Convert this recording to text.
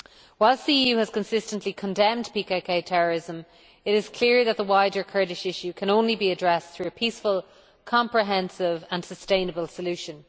Whilst the EU has consistently condemned PKK terrorism, it is clear that the wider Kurdish issue can only be addressed through a peaceful, comprehensive and sustainable solution.